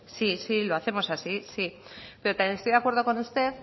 sí sí lo hacemos así pero también estoy de acuerdo con usted